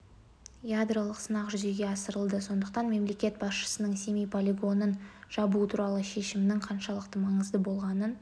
ядролық сынақ жүзеге асырылды сондықтан мемлекет басшысының семей полигонын жабу туралы шешімінің қаншалықты маңызды болғанын